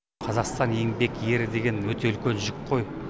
қазақстан еңбек ері деген өте үлкен жүк қой